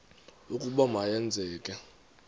ukuba ma yenzeke